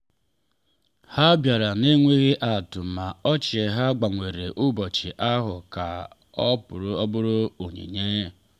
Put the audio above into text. ha bịara n’enweghị atụ ma ọchị ha gbanwere ụbọchị ahụ ka ọ bụrụ onyinye.